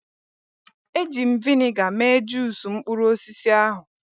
Eji m vịnịga mee juusu mkpụrụ osisi ahụ.